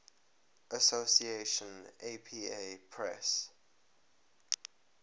association apa press